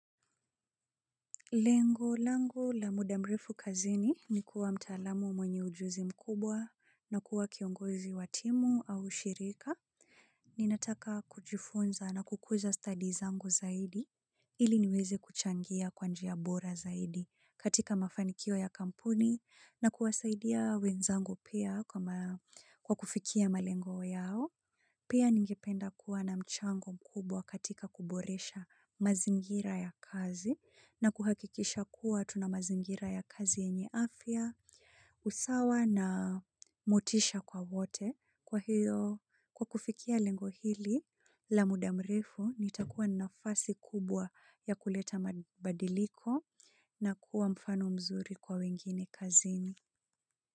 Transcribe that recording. Lengo lango la muda mrefu kazini ni kuwa mtaalamu mwenye ujuzi mkubwa na kuwa kiongozi watimu au shirika. Ninataka kujifunza na kukuza study zango zaidi ili niweze kuchangia kwa njiya bora zaidi katika mafanikio ya kampuni na kuwasaidia wenzangu pia kwa kufikia malengo yao. Pia ningependa kuwa na mchango mkubwa katika kuboresha mazingira ya kazi na kuhakikisha kuwa tuna mazingira ya kazi yenye afia, usawa na motisha kwa wote kwa hiyo kwa kufikia lengohili la mudamrifu nitakuwa nafasi kubwa ya kuleta madiliko na kuwa mfano mzuri kwa wengine kazini.